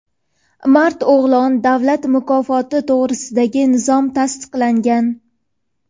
"Mard o‘g‘lon" davlat mukofoti to‘g‘risidagi nizom tasdiqlangan.